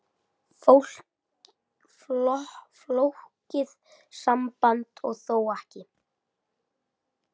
Flókið samband og þó ekki.